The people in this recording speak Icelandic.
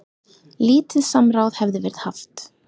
Lítið samráð hefði verið haft.